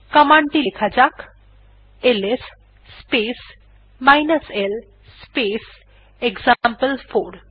command টি লেখা যাক এলএস স্পেস l স্পেস এক্সাম্পল4